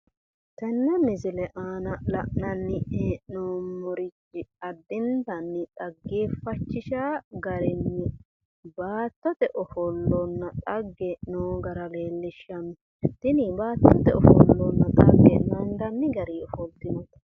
Tenne misile aana la'nanni hee'noommori addinta dhaggeefachishanno garinni baattote ofollonna xagge noo gara leellishanno tini baattote ofollo naandanni